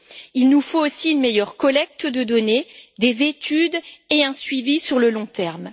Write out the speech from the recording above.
Il nous faut également une meilleure collecte de données, des études et un suivi sur le long terme.